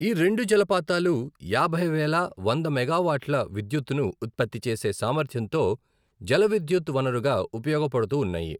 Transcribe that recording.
ఈ రెండు జలపాతాలు యాభైవేల వంద మెగావాట్ల విద్యుత్తును ఉత్పత్తి చేసే సామర్థ్యంతో జలవిద్యుత్ వనరుగా ఉపయోగపడుతూ ఉన్నాయి.